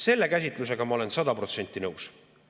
Selle käsitlusega ma olen sada protsenti nõus.